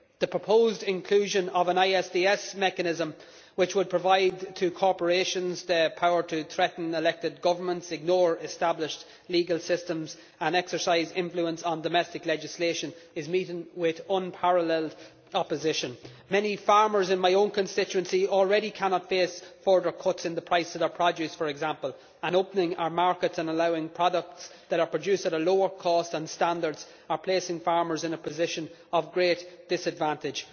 The proposed inclusion of an ISDS mechanism which would provide corporations with the power to threaten elected governments, ignore established legal systems and exercise influence on domestic legislation is meeting with unparalleled opposition. Many farmers in my own constituency already cannot face further cuts in the price of their produce, for example, and opening our markets and allowing products that are produced at a lower cost and standard places farmers in a position of great disadvantage.